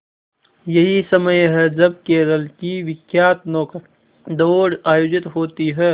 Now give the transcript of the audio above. यही समय है जब केरल की विख्यात नौका दौड़ आयोजित होती है